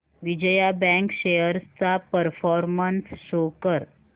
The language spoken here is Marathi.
विजया बँक शेअर्स चा परफॉर्मन्स शो कर